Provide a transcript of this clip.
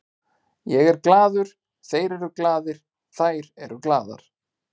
Ég er glaður, þeir eru glaðir, þær eru glaðar.